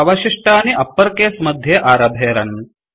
अवशिष्टपदानि uppercase मध्ये आरभेरन्